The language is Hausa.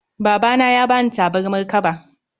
Babana ne ya bani tabarmar kaba